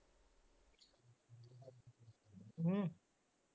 ਹਮ